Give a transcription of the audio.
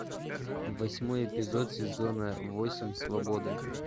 восьмой эпизод сезона восемь свобода